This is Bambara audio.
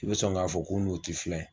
I bɛ sɔn k'a fɔ ko n'u tɛ filan ye.